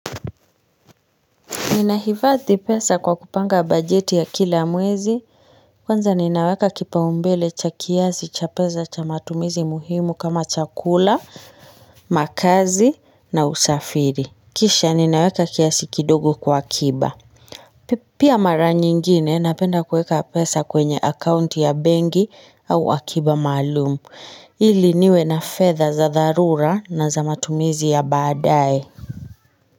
Nina hivadhi pesa kwa kupanga bajeti ya kila mwezi, kwanza ninaweka kipao mbele cha kiasi cha pesa cha matumizi muhimu kama chakula, makahazi na usafiri. Kisha ninaweka kiasi kidogo kwa kiba. Pia mara nyingine napenda kueka pesa kwenye akaunti ya bengi au akiba maalumu, ili niwe na fedha za darura na za matumizi ya badae.